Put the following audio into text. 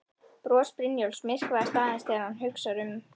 Bros Brynjólfs myrkvast aðeins þegar hann hugsar um